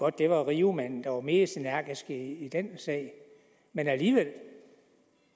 at det var riomanden der var mest energisk i den sag men alligevel